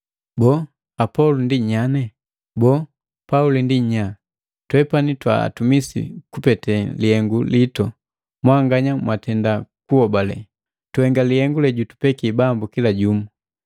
Boo, Apolo ndi nyanye? Boo, Pauli ndi nyanye? Twepani twa atumisi kupete lihengu litu mwanganya mwatenda kuhobale, tuhenga lihenga lejutupeki Bambu kila jumu.